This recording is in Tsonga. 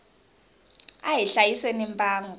a hi hlayiseni mbango